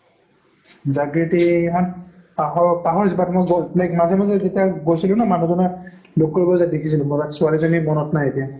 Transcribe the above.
জাগ্ৰিতী হঁত পাৰহ পাহৰিছো but মই like মাজে মাজে যেতিয়া গৈছিলো ন মানুহ জনৰ লগ কৰিব যোৱা দেখিছিলো মই but ছোৱালী জনী মনত নাই এতিয়া